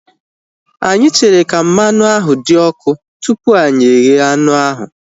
Anyị chere ka mmanụ ahu dị ọkụ tupu anyị eghe anụ ahu